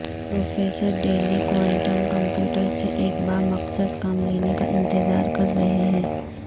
professor Daley quantum computer سے ایک بامقصد کام لینے کا انتظار کر رہے ہیں